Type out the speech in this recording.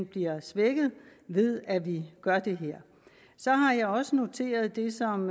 bliver svækket ved at vi gør det her så har jeg også noteret det som